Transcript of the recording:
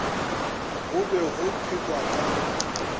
go be go phelwa ka